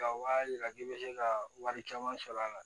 Ka wa jira k'i bɛ se ka wari caman sɔrɔ a la